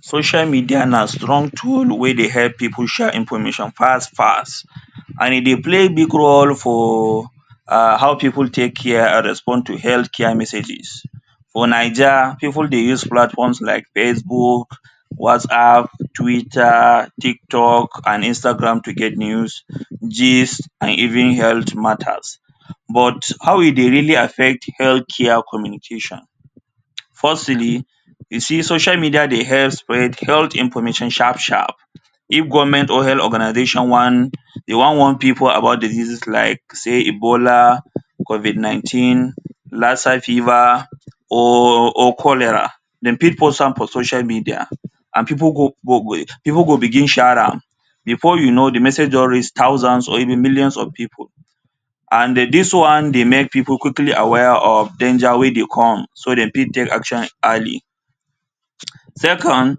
Social media na strong tool wey dey help people share information fast fast and e dey play big role for um how people take care respond to health care messages. For Naija people dey use platforms like facebook, whatsapp, twitter, tiktok and Instagram to get news, gist and even health matters. But how e dey really affect health care communication firstly, you see social media dey help spread health information sharp sharp, if government or health organization want dey wan warn people about disease like say Ebola Covid nineteen, Lassa fever or or Cholera dem fit post am for social media and people go people go begin share am before you know the message don reach thousands or millions of people and dis one dey make people dey quickly dey aware of danger wey dey come so dem fit take action early second,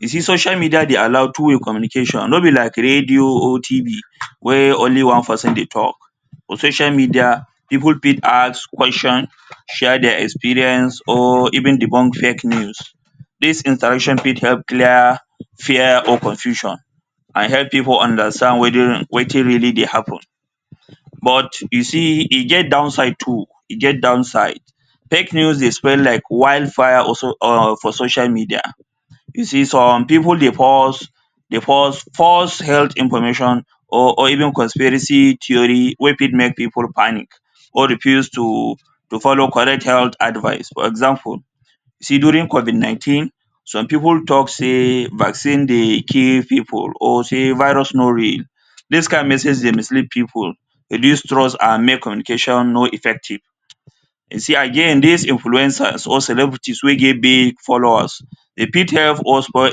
you see social media dey allow two way communication nor be like radio or TV wey only one person dey talk social media people fit ask questions share their experience or even debunk fake news dis interaction fit help clear fear or confusion and help people understand wetin wetin really dey happen but you see e get down side too e get down side fake news dey spread like wide fire on for social media you see some people dey post false false health information or even conspiracy theory wey fit make people panic or refuse to to follow correct health advise for example during covid nineteen some people talk say vaccine dey kill people or say virus nor real dis kind message dey mislead people reduce trust and make communication no effective you see again dis influencers or celebrity wey get big followers dey fit help us spoil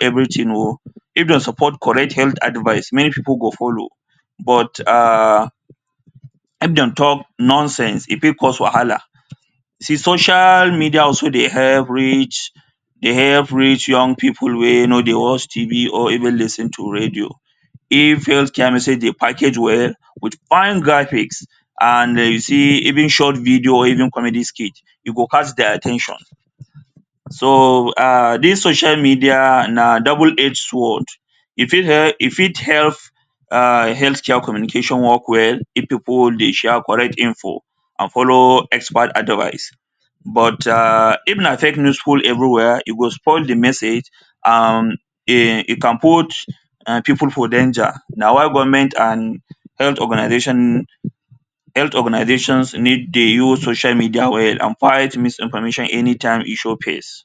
everything oh if dey support correct health advice many people go follow but um if dem talk nonsense e fit cause wahala see social media also dey help reach, dey help reach young people wey nor dey watch Tv or even lis ten to radio if health message dey package well with fine graphics and you see even short video even comedy skit e go catch their at ten tion so um dis social media na double edge sword e fit help e fit help, help health care communication work well if people dey share correct info and follow expert advice but um if na fake news full everywhere e go spoil the message and um e can put um people for danger and na why government and health organization need dey use social media well and fight misinformation anytime e show face.